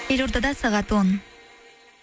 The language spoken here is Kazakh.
елордада сағат он